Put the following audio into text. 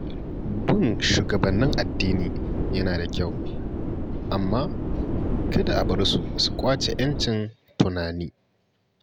Bin shugabannin addini yana da kyau, amma kada a bar su su ƙwace 'yancin tunani.